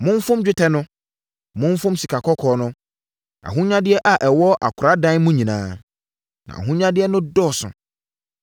Momfom dwetɛ no! Momfom sikakɔkɔɔ no! Ahonyadeɛ a ɛwɔ akoradan mu nyinaa! Na ahonyadeɛ no dɔɔso.